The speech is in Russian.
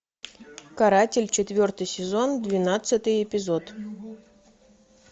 каратель четвертый сезон двенадцатый эпизод